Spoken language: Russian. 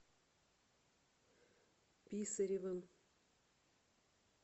писаревым